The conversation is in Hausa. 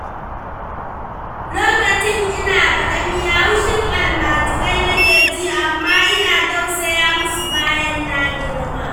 Lokacin ina karami haushin almjirai nake ji, amma ina tausaya musu bayan na girma.